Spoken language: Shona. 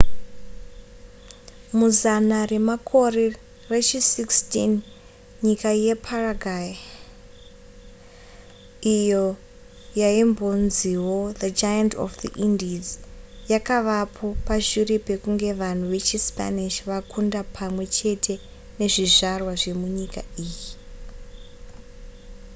muzana remakore rechi 16 nyika yeparaguay iyo yaimbonziwo the giant of the indies yakavapo pashure pekunge vanhu vechispanish vakunda pamwe chete nezvizvarwa zvemunyika iyi